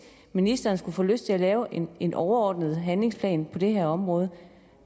ministeren skulle få lyst til at lave en en overordnet handlingsplan på det her område